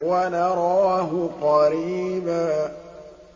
وَنَرَاهُ قَرِيبًا